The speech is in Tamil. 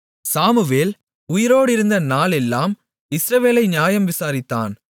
சாமுவேல் உயிரோடிருந்த நாளெல்லாம் இஸ்ரவேலை நியாயம் விசாரித்தான்